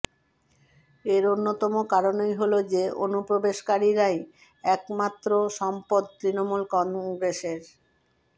এর অন্যতম কারণই হলো যে অনুপ্রবেশকারীরাই একমাত্র সম্পদ তৃণমূল কংগ্রেসের